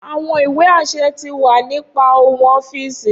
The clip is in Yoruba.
Awọn iwe aṣẹ ti wa ni pa ohun ọfiisi.